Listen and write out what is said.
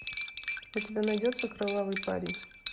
у тебя найдется кровавый парень